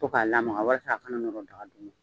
Fo k'a lamaga walasa a ka na nɔɔrɔ daga duguma.